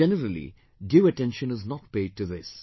But generally due attention is not paid to this